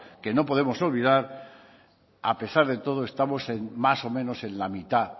que no podemos olvidar a pesar de todo estamos más o menos en la mitad